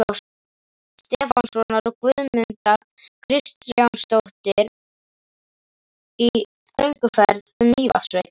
Stefánssonar, og Guðmunda Kristinsdóttir í gönguferð um Mývatnssveit.